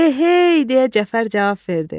Eheey, deyə Cəfər cavab verdi.